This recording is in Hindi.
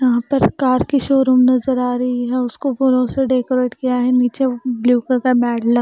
यहाँ पर कार की शोरूम नज़र आ रही है उसको फूलों से डेकोरेट किया है नीचे ब्लू का मैट ल --